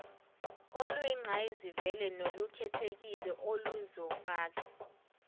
oluyingqayizivele nolukhethekile oluzofaka